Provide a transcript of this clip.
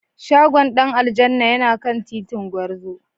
Shagon Dan aljanna yana kan titin Gwarzo.